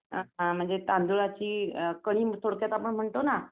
अ तांदळाची थोडक्यात आपण म्हणतो ना.